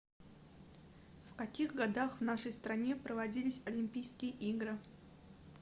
в каких годах в нашей стране проводились олимпийские игры